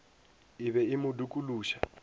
e be e mo dikološa